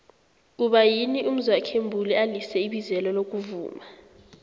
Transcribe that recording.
kuba yini umzwokhe mbuli alize ibizelo lokuvuma